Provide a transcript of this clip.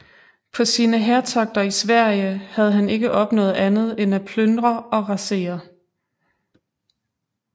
På sine hærtogter i Sverige havde han ikke opnået andet end at plyndre og rasere